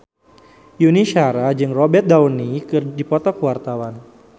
Yuni Shara jeung Robert Downey keur dipoto ku wartawan